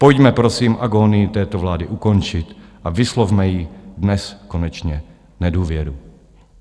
Pojďme prosím agónii této vlády ukončit a vyslovme jí dnes konečně nedůvěru.